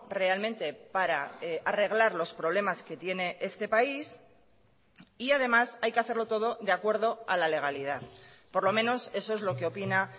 realmente para arreglar los problemas que tiene este país y además hay que hacerlo todo de acuerdo a la legalidad por lo menos eso es lo que opina